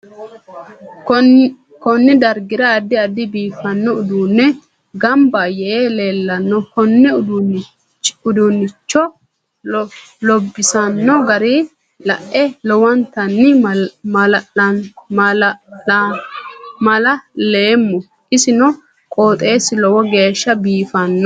Konne darga addi addi biufanno uduuni ganba yee leelaano konne uduunicho loobsooni gara lae lowontanni maala'loomo isi noo qooxeesi lowo geesha biifanno